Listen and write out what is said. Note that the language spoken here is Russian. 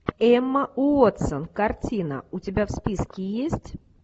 эмма уотсон картина у тебя в списке есть